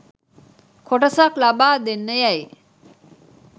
කොටසක් ලබා දෙන්න යැයි